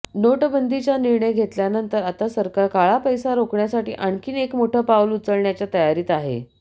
नोटबंदीचा निर्णय घेतल्यानंतर आता सरकार काळा पैसा रोखण्यासाठी आणखी एक मोठं पाऊल उचलण्याच्या तयारीत आहे